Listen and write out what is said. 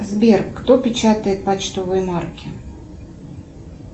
сбер кто печатает почтовые марки